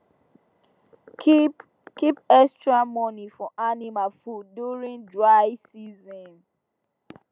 keep extra money for animal food during dry season